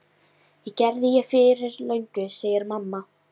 Það gerði ég fyrir löngu, segir mamma.